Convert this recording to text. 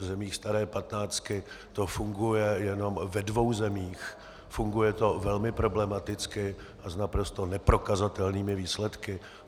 V zemích staré patnáctky to funguje jenom ve dvou zemích, funguje to velmi problematicky a s naprosto neprokazatelnými výsledky.